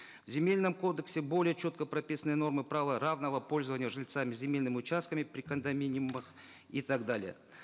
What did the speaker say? в земельном кодексе более четко прописаны нормы права равного пользования жильцами земельными участками при кондоминиумах и так далее